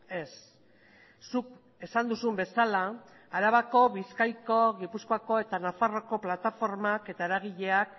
ez zuk esan duzun bezala arabako bizkaiko gipuzkoako eta nafarroako plataformak eta eragileak